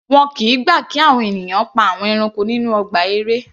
Wọn kìí gbà kí àwọn ènìyàn pa àwọn ẹranko nínú ọgbà eré.